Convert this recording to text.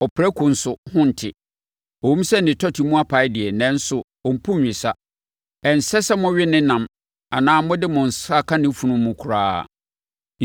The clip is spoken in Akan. Ɔprako nso ho nte. Ɛwom sɛ ne tɔte mu apae deɛ, nanso ɔmpu nwesa. Ɛnsɛ sɛ mowe ne nam anaa mode mo nsa sɔ ne funu mu koraa.